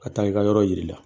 Ka taa i ka yɔrɔ yir'i la